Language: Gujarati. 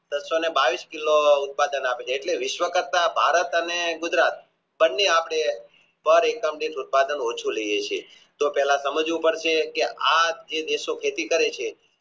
એક સોને બાવીશ કિલો ઉત્પાદન આપે છે એટલે વિશ્વ કરતા ભારત અને ગુજરાત બવાને આપે ઉત્પાદન ઓછું લાયએ છીએ તો પહેલા સમજવું પડશે કે આ જે દેશો ખેતી કરે છે